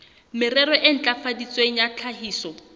merero e ntlafaditsweng ya tlhahiso